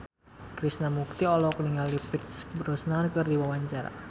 Krishna Mukti olohok ningali Pierce Brosnan keur diwawancara